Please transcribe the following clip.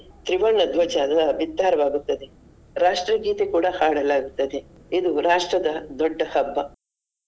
ವರ್ಣ ಧ್ವಜ ಎಲ್ಲ ಬಿತ್ತಾರವಾಗುತ್ತದೆ ರಾಷ್ಟ್ರಗೀತೆ ಕೂಡ ಹಾಡಲಾಗತ್ತದೆ. ಇದು ರಾಷ್ಟ್ರದ ದೊಡ್ಡ ಹಬ್ಬ.